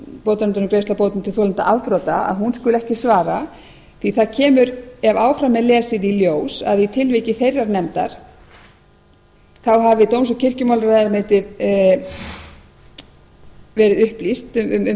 greiðslu á bótum til þolenda afbrota að hún skuli ekki svara því það kemur ef áfram er lesið í ljós að í tilviki þeirrar nefndar hafi dóms og kirkjumálaráðuneytið verið upplýst um